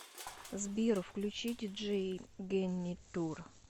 сбер включи диджей гени тур